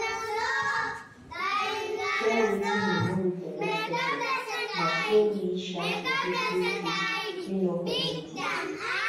share wetin you know with the next person na so we um go fit build dis um community